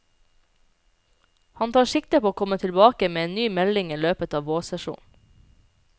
Han tar sikte på å komme tilbake med en ny melding i løpet av vårsesjonen.